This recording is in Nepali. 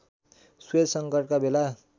स्वेज सङ्कटका बेला